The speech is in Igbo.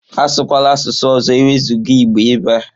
Asụkwala asụsụ ọzọ ewezuga Igbo ebe a!